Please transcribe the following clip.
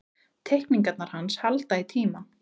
Teikningarnar hans halda í tímann.